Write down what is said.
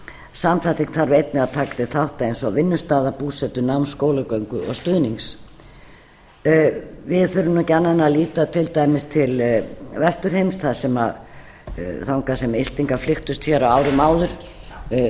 samþætting þarf einnig að taka til þátta eins og vinnustaða búsetu náms skólagöngu og stuðnings við þurfum ekki annað en að líta til dæmis til vesturheims þangað sem íslendingar flykktust hér á árum áður